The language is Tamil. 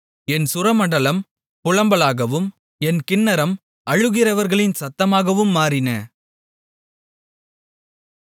என் சுரமண்டலம் புலம்பலாகவும் என் கின்னரம் அழுகிறவர்களின் சத்தமாகவும் மாறின